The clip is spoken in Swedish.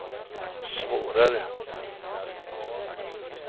svårare